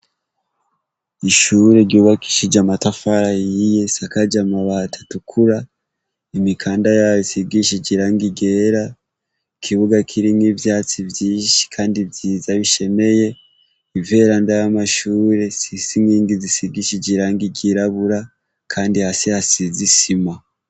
Ishure ryubakishije amatafari ahiye risakaje amabati atukura imikanda yayo isigishije irangi ryera, ikibuga kirimwo ivyatsi vyinshi kandi vyiza bishemeye, iveranda y'amashure zisinyengi zisigishije irangi ryirabura, kandi hasize isima.